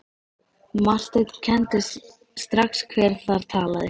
Marteinn kenndi strax hver þar talaði.